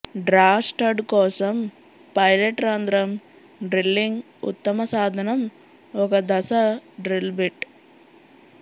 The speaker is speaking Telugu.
డ్రా స్టడ్ కోసం పైలట్ రంధ్రం డ్రిల్లింగ్ ఉత్తమ సాధనం ఒక దశ డ్రిల్ బిట్